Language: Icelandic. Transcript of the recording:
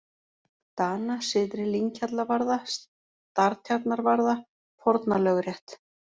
Dana, Syðri-Lynghjallavarða, Startjarnarvarða, Fornalögrétt